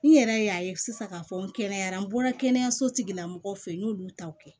N yɛrɛ y'a ye sisan k'a fɔ n kɛnɛyara n bɔra kɛnɛyaso tigilamɔgɔw fɛ yen n y'olu taw kɛ